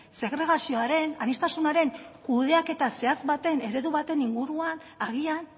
segregazioaren aniztasunaren kudeaketa zehatz baten eredu baten inguruan agian